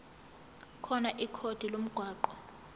khona ikhodi lomgwaqo